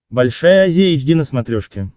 большая азия эйч ди на смотрешке